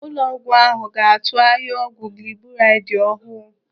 Ụlọọgwụ ahụ ga-atụ ahịa ọgwụ gliburaidi ọhụụ.